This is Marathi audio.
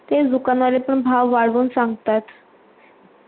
तेच दुकान वले पन भाव वाडून सांगतात